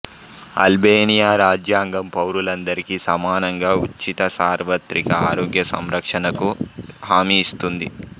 Albania రాజ్యాంగం పౌరులందరికీ సమానంగా ఉచిత సార్వత్రిక ఆరోగ్య సంరక్షణకు హామీ ఇస్తుంది